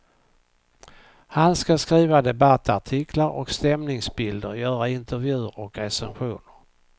Han skall skriva debattartiklar och stämningsbilder, göra intervjuer och recensioner.